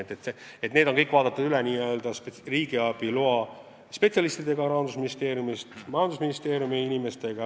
Kõik see on üle vaadatud riigiabi loa spetsialistidega Rahandusministeeriumist, samuti majandusministeeriumi inimestega.